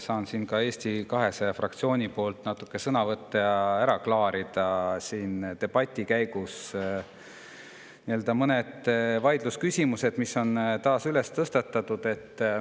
Saan siin ka Eesti 200 fraktsiooni nimel natuke sõna võtta ja ära klaarida mõned vaidlusküsimused, mis debati käigus taas üles tõsteti.